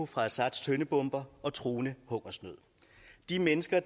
fra assads tøndebomber i og truende hungersnød de mennesker